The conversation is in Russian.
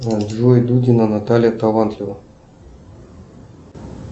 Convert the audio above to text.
джой дудина наталья талантлива